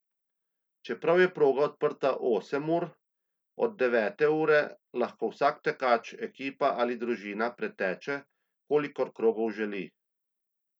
Čeprav je proga odprta osem ur, od devete ure, lahko vsak tekač, ekipa ali družina preteče kolikor krogov želi.